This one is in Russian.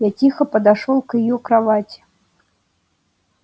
я тихо подошёл к её кровати